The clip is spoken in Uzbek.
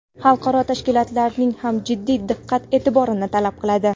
xalqaro tashkilotlarning ham jiddiy diqqat-e’tiborini talab qiladi.